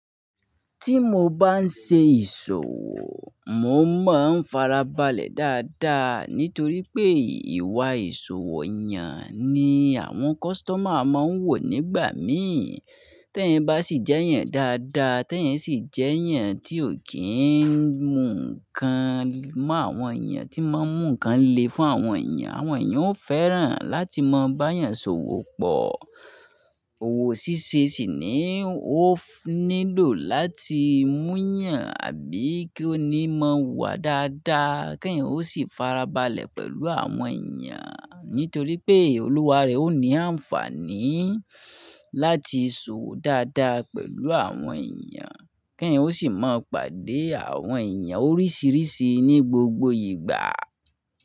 Tí mo bá ń ṣe ìṣòwò, mo máa ń farabalẹ̀ dáadáa nítorí pé ìwà ìṣòwò yàn ni àwọn customer máa ń wò nígbà mìí Te yan bá sì jeyàn dáadáa, te yan sì jeyàn tí ò kíi ń mú ǹkan mọ́ àwọn èèyàn tí máa ń mú ǹkan le fún àwọn èèyàn. Àwọn èèyàn ó fẹ́ràn láti máa bá yàn ṣòwò pọ̀. Òwò ṣíṣe sì nii ó nílò láti múyàn àbí kí ó ní mọ̀ wá dáadáa kí èèyàn ó sì farabalẹ̀ pẹ̀lú àwọn èèyàn nítorí pé olúwa rẹ̀ ó ní àǹfààní láti ṣòwò dáadáa pẹ̀lú àwọn èèyàn, kèèyàn ó sì máa pàdé àwọn èèyàn oríṣiríṣi ní gbogbo ìgbà.